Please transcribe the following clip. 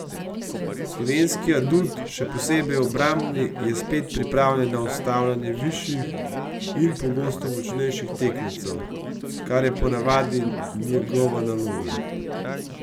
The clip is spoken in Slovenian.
Slovenski adut, še posebej obrambni, je spet pripravljen na ustavljanje višjih in pogosto močnejših tekmecev, kar je po navadi njegova naloga.